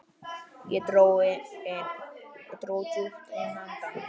Ég dró djúpt inn andann.